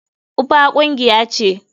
Uefa kungiya ce.